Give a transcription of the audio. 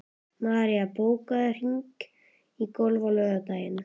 Marín, bókaðu hring í golf á laugardaginn.